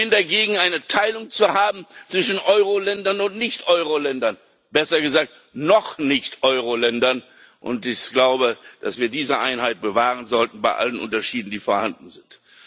Ich bin gegen eine Teilung zwischen Euroländern und Nicht Euroländern, besser gesagt Noch Nicht Euroländern. Ich glaube, dass wir diese Einheit bewahren sollten bei allen Unterschieden, die vorhanden sind.